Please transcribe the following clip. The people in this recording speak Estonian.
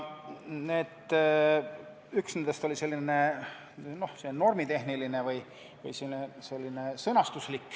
Üks neist oli selline normitehniline või sõnastuslik.